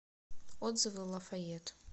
отзывы лафает